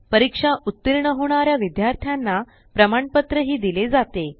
परीक्षेत उत्तीर्ण होणाऱ्या विद्यार्थ्यांना प्रमाणपत्र हि दिले जाते